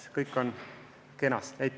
Kõik on kenasti.